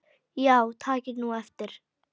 Já takið nú eftir.